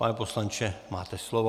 Pane poslanče, máte slovo.